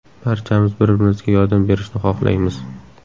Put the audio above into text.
Barchamiz bir-birimizga yordam berishni xohlaymiz.